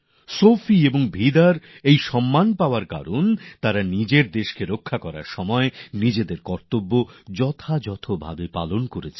Sophie আর বিদাকে এই সম্মান এইজন্য দেওয়া হয়েছে কারণ তারা নিজেদের দেশের রক্ষার কাজ করতে গিয়ে নিজেদের কর্তব্য দারুণ দারুণভাবে পালন করেছে